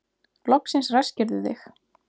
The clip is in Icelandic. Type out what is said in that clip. Loksins ræskirðu þig.